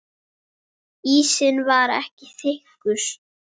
Ísinn var ekki þykkur.